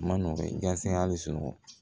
A ma nɔgɔn gase hali sunɔgɔ